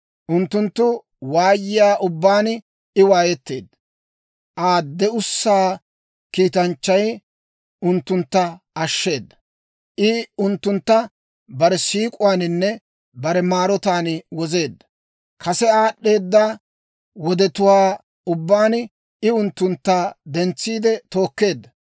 Unttunttu waayiyaa ubbaan I waayetteedda. Aa de'ussaa Kiitanchchay unttuntta ashsheeda. I unttuntta bare siik'uwaaninne bare maarotaan wozeedda. Kase aad'd'eeda wodetuwaa ubbaan I unttuntta dentsiide tookkeedda.